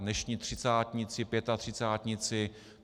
Dnešní třicátníci, pětatřicátníci.